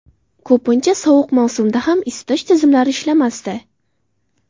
Ko‘pincha sovuq mavsumda ham isitish tizimlari ishlamasdi.